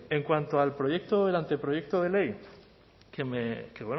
en cuanto al proyecto el anteproyecto de ley que